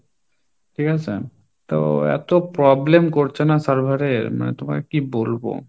ঠিক আছে, তো এত problem করছে না server এর মানে তোমাকে কি বলবো?